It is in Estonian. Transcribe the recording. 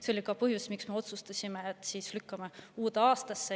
See oli ka põhjus, miks me otsustasime lükata selle uude aastasse.